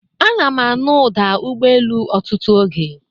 Ana m anụ ụda ụgbọelu otutu oge